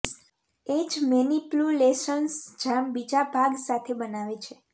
એ જ મેનિપ્યુલેશન્સ જામ બીજા ભાગ સાથે બનાવે છે